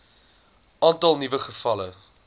aantal nuwe gevalle